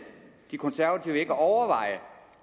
de konservative ikke overveje